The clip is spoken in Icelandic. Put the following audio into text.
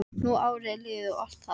Nú árið er liðið og allt það.